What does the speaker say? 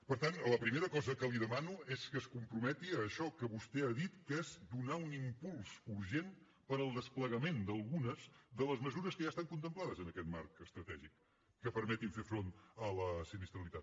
per tant la primera cosa que li demano és que es comprometi a això que vostè ha dit que és donar un impuls urgent per al desplegament d’algunes de les mesures que ja estan contemplades en aquest marc estratègic que permetin fer front a la sinistralitat